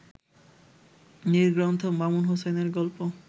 নির্গ্রন্থ মামুন হুসাইনের গল্প